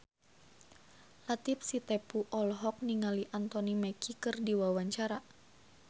Latief Sitepu olohok ningali Anthony Mackie keur diwawancara